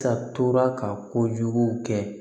Ka tora ka kojugu kɛ